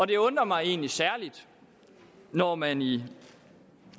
det undrer mig egentlig særligt når man i